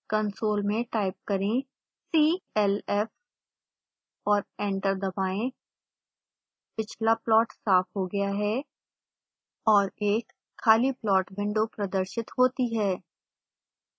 console में type करें clf और एंटर दबाएं पिछला फ्लॉट साफ हो गया है और एक खाली प्लॉट विंडो प्रदर्शित होती है